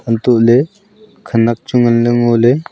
antoh ley khenek chu ngan ley ngo ley.